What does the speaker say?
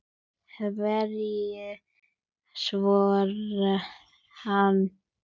Hverju svaraði hann?